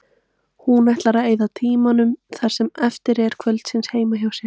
Hún ætlar að eyða tímanum það sem eftir er kvölds heima hjá sér.